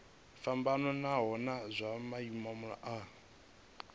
fhambanaho nahone zwa maimo a